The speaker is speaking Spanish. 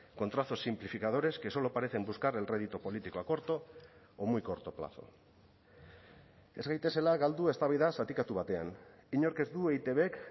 con trazos simplificadores que solo parecen buscar el rédito político a corto o muy corto plazo ez gaitezela galdu eztabaida zatikatu batean inork ez du eitbk